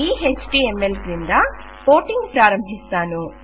ఈ ఎచ్టీఎంఎల్ క్రింద కోటింగ్ ప్రారంభిస్తాను